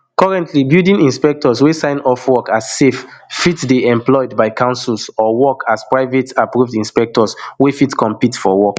currently building inspectors wey sign off work as safe fit dey employed by councils or work as private approved inspectors wey fit compete for work